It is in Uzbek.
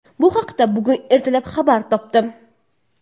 Bu haqda bugun ertalab xabar topdim.